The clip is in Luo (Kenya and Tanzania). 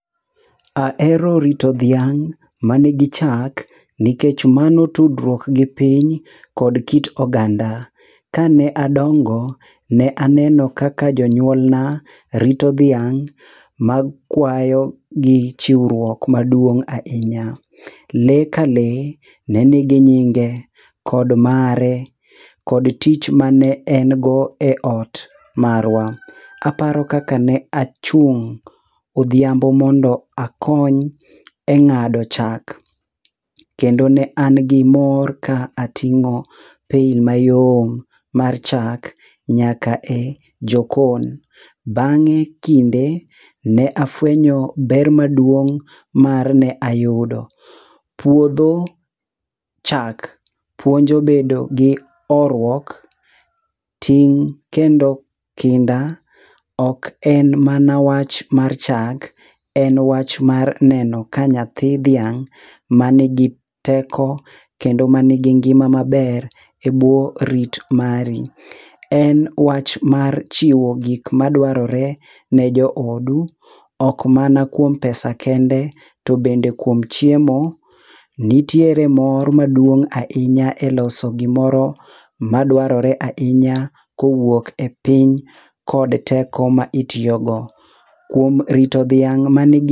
Ahero rito dhiang' ma nigi chak nikech mano tudruok gi piny kod kit oganda. Ka ne adongo, ne aneno kaka jonyuol na rito dhiang' ma kwayo gi chiwruok maduong' ahinya. Lee ka lee ne nigi nyinge, chord mare kod tich mane en go e ot marwa. Aparo kaka ne achung' odhiambo mondo akony e ng'ado chak, kendo ne an gi mor ka ating'o pail mayom mar chak nyaka e jokon. Bang'e, kinde, ne afwenyo ber maduong' mar ne ayudo. Puodho chak puonjo bedo gi horuok, ting' kendo kinda ok en mana wach mar chak, en wach mar neno ka nyathi dhiang' ma nigi teko kendo ma nigi ngima maber e bwo rit mari. En wach mar chiwo gik ma dwarore ne jo odu, ok mana kuom pesa kende, to bende kuom chiemo. Nitiere mor maduong' ahinya e loso gimoro ma dwarore ahinya kowuok e piny kod teko ma itiyo go. Kuom rito dhiang' manigi...